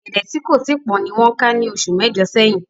Ọ̀gẹ̀dẹ̀ tí kò tíì pọ́n ni wọ́n ká ní oṣù mẹ́jọ̀ sẹ́yìn